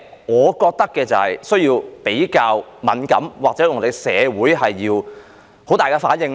我覺得為何要這麼敏感或有需要在社會上作出很大的反應呢？